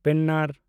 ᱯᱮᱱᱟᱨ